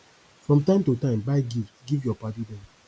from time to time buy gift give your paddy dem